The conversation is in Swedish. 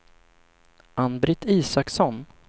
Ann-Britt Isaksson